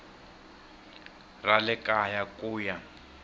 ra le kaya ku ya